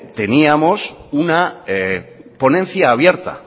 teníamos una ponencia abierta